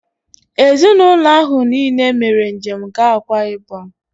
Ezinaụlọ ahụ niile mere njem gaa Akwa ịbọm